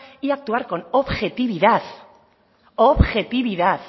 y actuar con objetividad objetividad